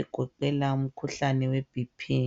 egoqela umkhuhlane we bhi phi.